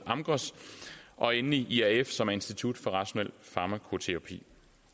amgros og endelig irf som institut for rationel farmakoterapi